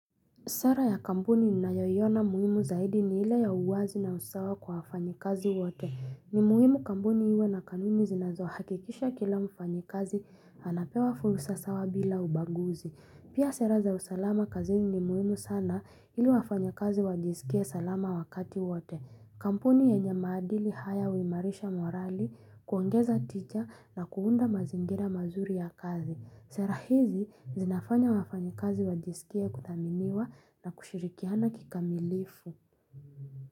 Sara ya kampuni ninayoiona muhimu zaidi ni ile ya uwazi na usawa kwa wafanyi kazi wote. Ni muhimu kampuni iwe na kanuni zinazohakikisha kila mfanyikazi anapewa fursa sawa bila ubaguzi. Pia sera za usalama kazini ni muhimu sana ili wafanyakazi wajisikie salama wakati wote. Kampuni yenye maadili haya huimarisha morali kuongeza ticha na kuunda mazingira mazuri ya kazi. Sera hizi zinafanya wafanyikazi wajisikie kuthaminiwa na kushirikiana kikamilifu.